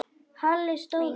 Halli stóð upp.